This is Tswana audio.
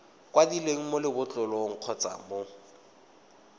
kwadilweng mo lebotlolong kgotsa mo